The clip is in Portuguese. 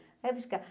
Vai buscar.